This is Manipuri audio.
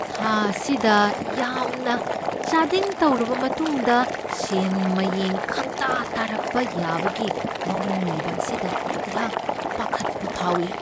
ꯊꯥ ꯑꯁꯤꯗ ꯌꯥꯝꯅ ꯆꯥꯗꯤꯡ ꯇꯧꯔꯕ ꯃꯇꯨꯡꯗ ꯁꯦꯟ ꯃꯌꯦꯡ ꯈꯪꯇꯥ ꯇꯥꯊꯔꯛꯄ ꯌꯥꯕꯒꯤ ꯃꯋꯣꯡ ꯂꯩꯕ ꯑꯁꯤꯗ ꯑꯩꯍꯥꯛ ꯄꯥꯈꯠꯄ ꯐꯥꯎꯢ ꯫